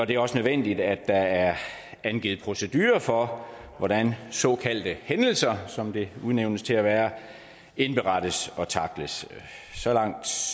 det er også nødvendigt at der er indgivet procedurer for hvordan såkaldte hændelser som det udnævnes til at være indberettes og tackles så langt